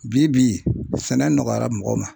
Bi bi sɛnɛ nɔgɔyara mɔgɔw ma.